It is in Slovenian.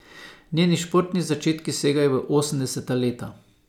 Njeni športni začetki segajo v osemdeseta leta.